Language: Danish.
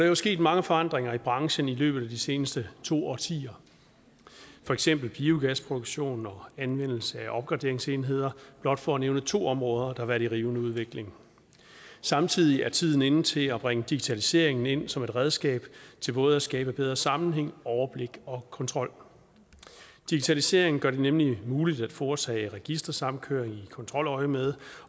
jo sket mange forandringer i branchen i løbet af de seneste to årtier for eksempel biogasproduktion og anvendelse af opgraderingsenheder blot for at nævne to områder der har været i rivende udvikling samtidig er tiden inde til at bringe digitalisering ind som et redskab til både at skabe bedre sammenhæng overblik og kontrol digitaliseringen gør det nemlig muligt at foretage registersamkøring i kontroløjemed